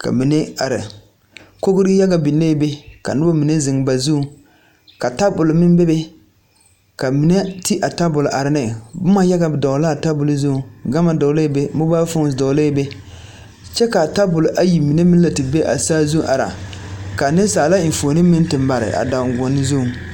ka mine are kogri yaga biŋee be ka noba mine zeŋ ba zuŋ ka tabol meŋ bebe ka neɛ ti a tabol are ne boma yaga dɔgle la a tabol zuŋ gama dɔglɛɛ be mobile phones dɔglɛɛ be kyɛ ka a tabol ayi mine meŋ lɛ te be a saazu are ka nensaala enfuoni meŋ te mare a danguoni zuŋ.